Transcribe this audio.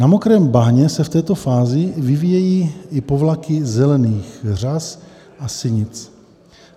Na mokrém bahně se v této fázi vyvíjejí i povlaky zelených řas a sinic.